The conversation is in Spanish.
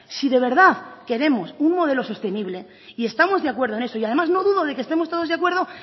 si de verdad queremos un modelo sostenible y estamos de acuerdo en eso y además no dudo de que estemos todos de acuerdo